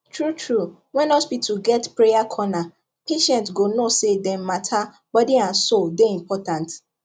true true when hospital get prayer corner patients go know say dem matter body and soul dey important